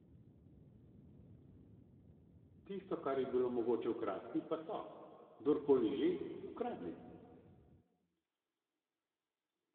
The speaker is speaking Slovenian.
Tisto, kar je bilo mogoče ukrasti, pa so, kdorkoli že, ukradli.